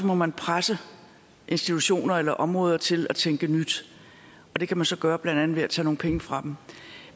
må man presse institutioner eller områder til at tænke nyt og det kan man så gøre blandt andet ved at tage nogle penge fra dem